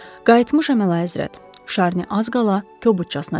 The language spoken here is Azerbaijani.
Qayıtmışam Əlahəzrət, Şarni az qala kobudcasına dedi.